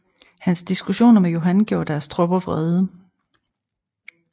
Hans diskussioner med Johan gjorde deres tropper vrede